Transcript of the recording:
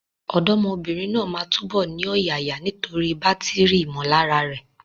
Ọ̀dọ́mọbìnrin náà máa túbọ̀ ní ọ̀yàyà nítorí bátìrì ìmọ̀lára rẹ̀.